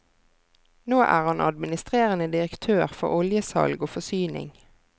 Nå er han administrerende direktør for oljesalg og forsyning.